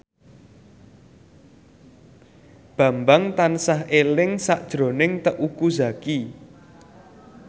Bambang tansah eling sakjroning Teuku Zacky